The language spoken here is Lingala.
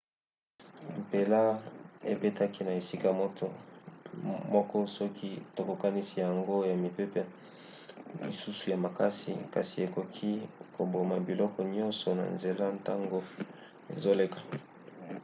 mpela ebetaki na esika moko soki tokokanisi yango na mipepe misusu ya makasi kasi ekoki koboma biloko nyonso na nzela ntango ezoleka